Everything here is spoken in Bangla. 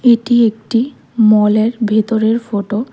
এটি একটি মলের ভেতরের ফটো ।